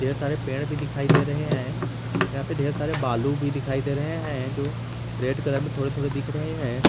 ढेर सारे पेड़ भी दिखाई दे रहे हैं यहां पे ढेर सारे बालू भी दिखाई दे रहे हैं जो रेड कलर में थोड़े थोड़े दिख रहे हैं।